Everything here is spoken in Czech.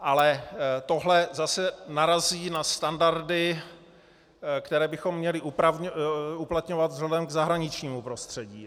Ale tohle zase narazí na standardy, které bychom měli uplatňovat vzhledem k zahraničnímu prostředí.